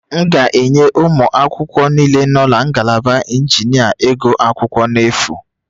M ga-enye ụmụ akwụkwọ niile nọ na ngalaba injinia iguakwukwo n' efu